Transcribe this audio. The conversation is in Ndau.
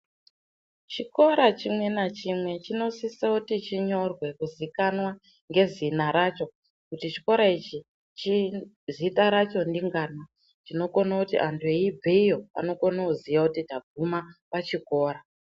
Chikora chimwe nachimwe chinosisa kuti chinyorwe kuzikanwa ngezina racho kuti chikora ichi chini, zita racho ndingana zvinokona kuti anhu eibve iyo anokona kuziya kuti taguma pachikora.